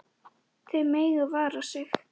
Þau mega vara sig.